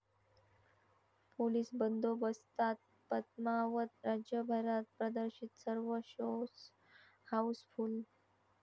police बंदोबस्तात पद्मावत राज्यभरात प्रदर्शित, सर्व शोज हाऊसफुल्ल